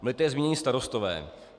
Byli tady zmíněni starostové.